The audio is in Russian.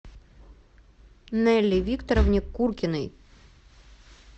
нелли викторовне куркиной